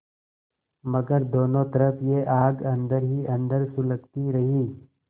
मगर दोनों तरफ यह आग अन्दर ही अन्दर सुलगती रही